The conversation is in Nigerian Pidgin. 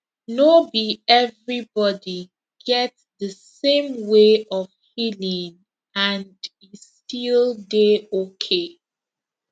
no be everybody get the same way of healing and e still dey okay